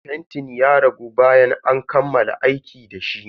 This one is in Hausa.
Fentin ya ragu bayan an kammala aiki dashi.